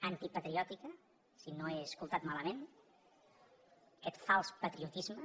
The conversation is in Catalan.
antipatriòtica si no ho he escoltat malament d’aquest fals patriotisme